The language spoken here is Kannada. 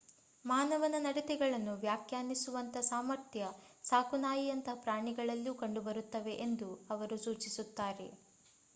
ಮಾನವನ ನಡತೆಗಳನ್ನು ವ್ಯಾಖ್ಯಾನಿಸುವಂಥ ಸಾಮರ್ಥ್ಯ ಸಾಕುನಾಯಿಯಂತಹ ಪ್ರಾಣಿಗಳಲ್ಲೂ ಕಂಡು ಬರುತ್ತವೆ ಎಂದು ಅವರು ಸೂಚಿಸುತ್ತಾರೆ